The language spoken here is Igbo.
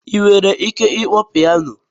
Ị nwere ike ịkpọ pianọ?